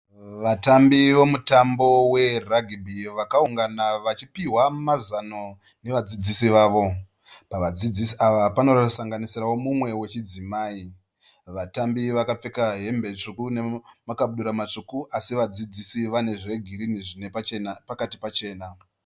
Vatambi vomutambo weragibhi vakaungana vachipihwa mazano nevadzidzisi vavo. Vadzidzisi ava panosanganisirawo mumwe wechidzimai. Vatambi vakapfeka hembe tsvuku nemakabudura matsvuku asi vadzidzisi vane zvegirinhi zvine pachena pakati pachena.